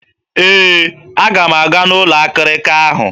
Ee, aga m aga n'ụlọ akịrịka ahụ.